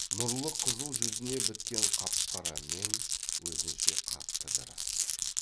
нұрлы қызыл жүзіне біткен қап қара мең өзінше қатты жарасып тұр